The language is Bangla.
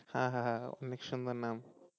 হ্যাঁ হ্যাঁ হ্যাঁ অনেক সুন্দর নাম।